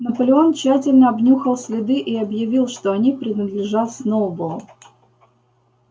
наполеон тщательно обнюхал следы и объявил что они принадлежат сноуболлу